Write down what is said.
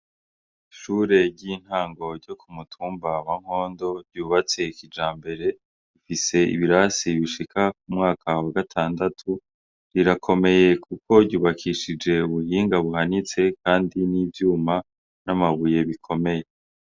Ishure ry' intango ryo ku mutumba wa Mpondo ryubatse kijambere rifise ibirasi bishika ku mwaka wa gatandatu rirakomeye kuko ryubakishije ubuhinga buhanitse kandi n' ivyuma n' amabuye bikomeye.